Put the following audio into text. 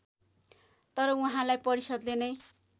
तर उहाँलाई परिषद्ले नै